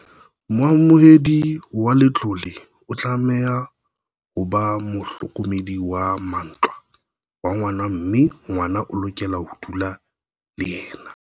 Moamohedi wa letlole o tlameha ho ba mohlokomedi wa mantlha wa ngwana mme ngwana o lokela ho dula le yena.